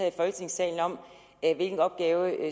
i folketingssalen om hvilken opgave